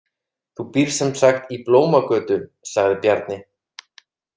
Þú býrð sem sagt í Blómagötu, sagði Bjarni.